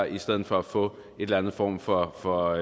i stedet for at få en eller anden form for for